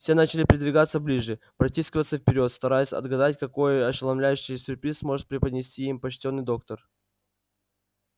все начали придвигаться ближе протискиваться вперёд стараясь отгадать какой ошеломляющий сюрприз может преподнести им почтенный доктор